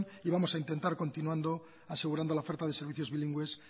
y vamos a intentar continuando asegurando la oferta de servicios bilingües